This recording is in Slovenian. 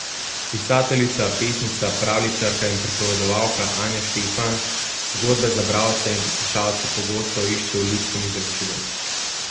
Pisateljica, pesnica, pravljičarka in pripovedovalka Anja Štefan zgodbe za bralce in poslušalce pogosto išče v ljudskem izročilu.